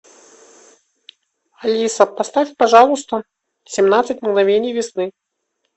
алиса поставь пожалуйста семнадцать мгновений весны